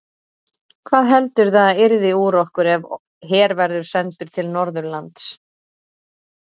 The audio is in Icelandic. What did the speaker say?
Hvað heldurðu að yrði úr okkur ef her verður sendur til Norðurlands?